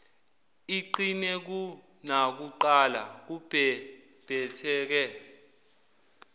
iqine kunakuqala kubhebhetheke